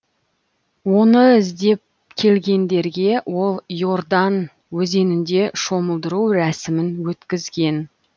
оны іздеп келгендерге ол иордан өзенінде шомылдыру рәсімін өткізген